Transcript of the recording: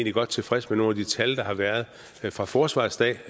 er godt tilfreds med nogle af de tal der har været for forsvarets dag